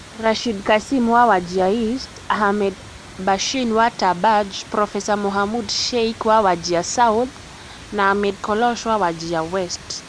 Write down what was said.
Rashid Kassim wa Wajir East, Ahmed Bashane wa Tarbaj, Prof Mohamud Sheikh wa Wajir South na Ahmed Kolosh wa Wajir West.